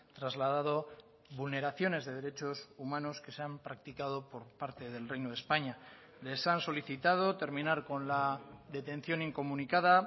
trasladado vulneraciones de derechos humanos que se han practicado por parte del reino de españa les han solicitado terminar con la detención incomunicada